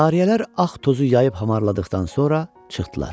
Cariyələr ağ tozu yayıb hamarladıqdan sonra çıxdılar.